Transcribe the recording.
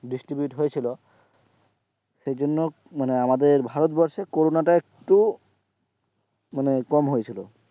distribute হয়েছিল সেজন্য আমাদের ভারতবর্ষে কোরোনাটা একটু মানে কম হয়েছিল,